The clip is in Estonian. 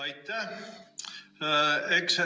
Aitäh!